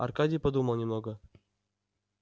аркадий подумал немного